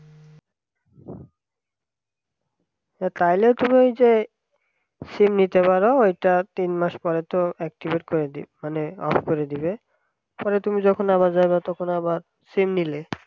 চাইলে তুমি যে sim নিতে পারো ওইটা তিন মাস পরে তো activate করে মানে অফ করে দিবে পরে যখন তুমি আবার যাব তখন আবার sim নিলে